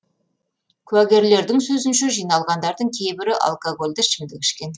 куәгерлердің сөзінше жиналғандардың кейбірі алкогольді ішімдік ішкен